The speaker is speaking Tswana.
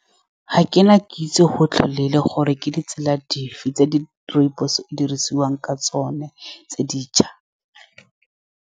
Ga ke na kitso gotlhelele gore ke ditsela dife tse di rooibos-e, e dirisiwang ka tsone tse dišwa.